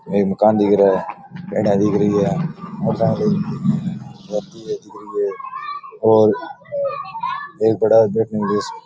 और एक मकान दिख रहा है पेड़ा दिख रही है और सामने पड़ा है बैठने के लिए --